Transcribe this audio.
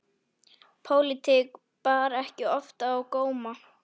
Pólitík bar ekki oft á góma.